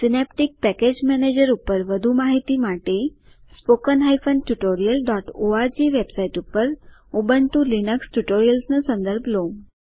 Synaptic package manager ઉપર વધુ માહિતી માટે httpspoken tutorialorg વેબસાઈટ ઉપર ઉબુન્ટુ લિનક્સ ટ્યુટોરિયલ્સ નો સંદર્ભ લો